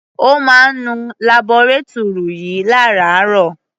Ó máa ń nu labọretúrì yìí lárààárọ̀.